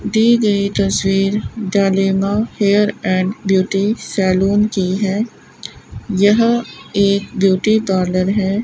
दी गई तस्वीर Zalima hair and beauty salon की है यह एक ब्यूटी पार्लर है।